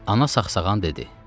Ana saxsağan dedi: